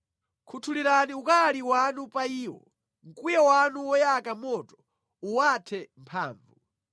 Khuthulirani ukali wanu pa iwo; mkwiyo wanu woyaka moto uwathe mphamvu.